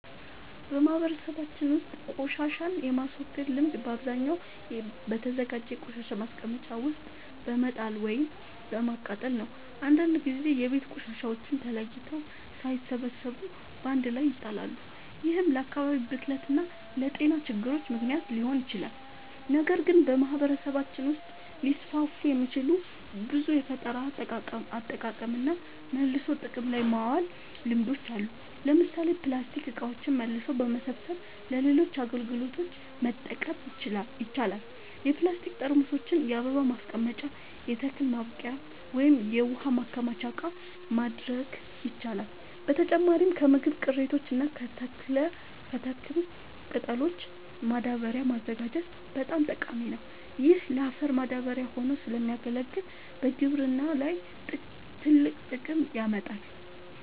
በማህበረሰባችን ውስጥ ቆሻሻን የማስወገድ ልምድ በአብዛኛው በተዘጋጀ የቆሻሻ ማስቀመጫ ውስጥ በመጣል ወይም በማቃጠል ነው። አንዳንድ ጊዜ የቤት ቆሻሻዎች ተለይተው ሳይሰበሰቡ በአንድ ላይ ይጣላሉ፤ ይህም ለአካባቢ ብክለት እና ለጤና ችግሮች ምክንያት ሊሆን ይችላል። ነገር ግን በማህበረሰባችን ውስጥ ሊስፋፉ የሚችሉ ብዙ የፈጠራ አጠቃቀምና መልሶ ጥቅም ላይ ማዋል ልምዶች አሉ። ለምሳሌ ፕላስቲክ እቃዎችን መልሶ በመሰብሰብ ለሌሎች አገልግሎቶች መጠቀም ይቻላል። የፕላስቲክ ጠርሙሶችን የአበባ ማስቀመጫ፣ የተክል ማብቀያ ወይም የውሃ ማከማቻ እቃ ማድረግ ይቻላል። በተጨማሪም ከምግብ ቅሪቶች እና ከተክል ቅጠሎች ማዳበሪያ ማዘጋጀት በጣም ጠቃሚ ነው። ይህ ለአፈር ማዳበሪያ ሆኖ ስለሚያገለግል በግብርና ላይ ትልቅ ጥቅም ያመጣል።